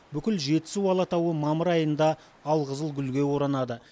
бүкіл жетісу алатауы мамыр айында алқызыл гүлге оранады